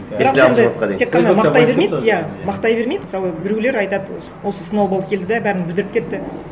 тек қана мақтай бермейді иә мақтай бермейді мысалы біреулер айтады осы сноуболл келді де бәрін бүлдіріп кетті